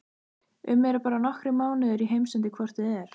um eru bara nokkrir mánuðir í heimsendi hvort eð er.